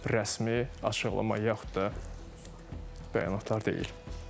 Rəsmi açıqlama, yaxud da bəyanatlar deyil.